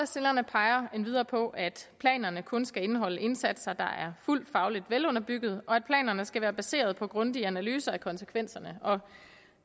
peger endvidere på at planerne kun skal indeholde indsatser der er fuldt fagligt velunderbyggede og at planerne skal være baseret på grundige analyser af konsekvenserne